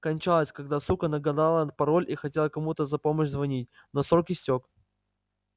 кончалась когда сука нагадала этот пароль и хотела кому-то за помощь звонить но срок истёк